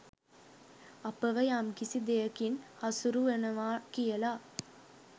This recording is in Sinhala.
අපව යම්කිසි දෙයකින් හසුරුවනවා කියලා